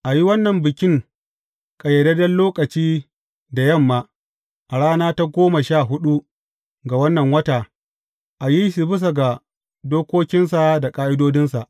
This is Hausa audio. A yi wannan bikin ƙayyadadden lokaci da yamma, a rana ta goma sha huɗu ga wannan wata, a yi shi bisa ga dokokinsa da ƙa’idodinsa.